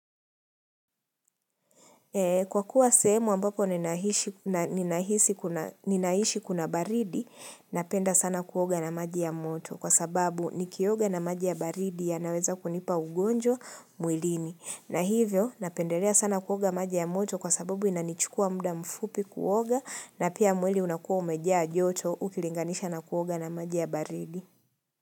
Kwa kuwa sehemu ambako ninaishi kuna baridi, napenda sana kuoga na maji ya moto kwa sababu nikioga na maji ya baridi yanaweza kunipa ugonjwa mwilini. Na hivyo, napendelea sana kuoga maji ya moto kwa sababu inanichukua muda mfupi kuoga na pia mwili unakuwa umejaa joto ukilinganisha na kuoga na maji ya baridi.